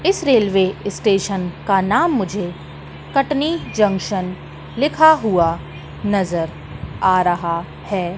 इस railway station का नाम मुझे कटनी जंक्शन लिखा हुआ नजर आ रहा है।